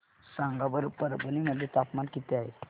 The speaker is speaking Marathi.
सांगा बरं परभणी मध्ये तापमान किती आहे